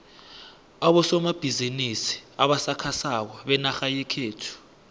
abosomabhizimisi abasakhasako benarha yekhethu